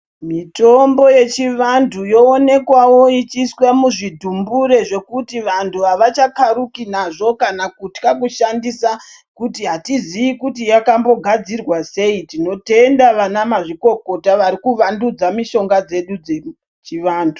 Mitombo yechivantu yoomekwawo ichiiswe muzvidhumbure zvekuti vantu havachakaruki nazvo kana kutya kushandisa kuti hatiziyi kuti yakambogadzirwa sei. Tinotenda vanamazvikokota vari kuvandudza mitombo yedu yechivantu.